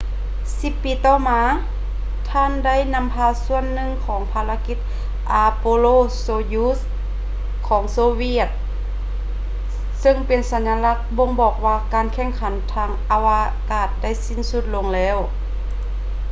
ສິບປີຕໍ່ມາ ທ່ານໄດ້ນຳພາສ່ວນໜຶ່ງຂອງພາລະກິດ ອາໂປໂລ ໂຊຢຸດຊ໌ apollo - soyuz ຂອງໂຊຫວຽດ ຊຶ່ງເປັນສັນຍາລັກບົ່ງບອກວ່າ ການແຂ່ງຂັນທາງອາວະກາດໄດ້ສິ້ນສຸດລົງແລ້ວ